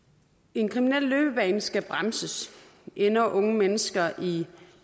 en kriminel løbebane skal bremses ender unge mennesker i